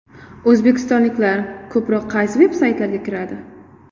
O‘zbekistonliklar ko‘proq qaysi veb-saytlarga kiradi?